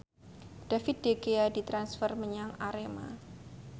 David De Gea ditransfer menyang Arema